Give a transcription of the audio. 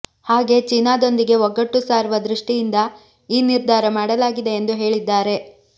ಹಾಗೇ ಚೀನಾದೊಂದಿಗೆ ಒಗ್ಗಟ್ಟು ಸಾರುವ ದೃಷ್ಟಿಯಿಂದ ಈ ನಿರ್ಧಾರ ಮಾಡಲಾಗಿದೆ ಎಂದು ಹೇಳಿದ್ದಾರೆ